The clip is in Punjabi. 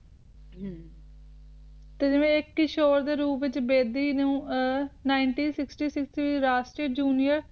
ਤੇ ਦੇ ਰੂਪ ਵਿਚ ਬੇਦੀ ਨੂੰ ਨਿਨਟੀ ਸੀਸ ਜੂਨੀਅਰ